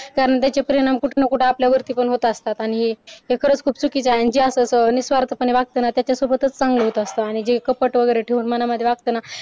कारण त्याचे परिणाम आपल्यावर कुठं ना कुठं आपल्यावर होत असतात आणि हे हे खरच खूप चुकीच आहे आणि जे असं निस्वार्थीपणे वागते ना त्याच्या सोबत चांगले होत असतात आणि जे कपट वगैरे मनामध्ये ठेवून वागत ना